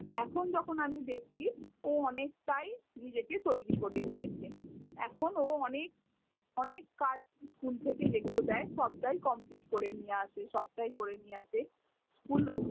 এখন যখন আমি দেখছি ও অনেকটাই নিজেকে তৈরী করে নিয়েছে। এখন ও অনেক অনেক কাজ school থেকে যে গুলো দেয় সবটাই complete করে নিয়ে আসে, সব টাই করে নিয়ে আসে। School